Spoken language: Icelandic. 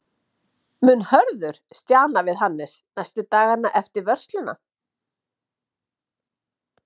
Mun Hörður stjana við Hannes næstu dagana eftir vörsluna?